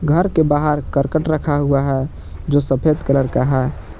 घर के बाहर करकट रखा हुआ है जो सफेद कलर का है।